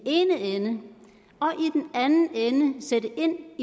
anden ende sætte ind